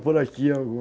por aqui